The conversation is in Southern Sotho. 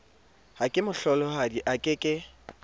ha kemohlolohadi a ke ke